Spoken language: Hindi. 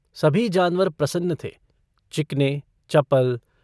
सभी जानवर प्रसन्न थे चिकने चपल।